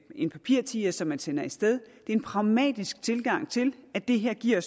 en papirtiger som man sender af sted det er en pragmatisk tilgang til at det her giver